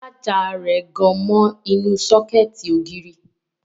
Ṣájà rẹ̀ gan mọ inú sọ́kẹ̀tì ògiri